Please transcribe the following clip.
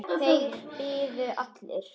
Þeir biðu allir.